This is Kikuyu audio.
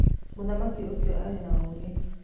Mũthamaki ũcio arĩ na ũũgĩ.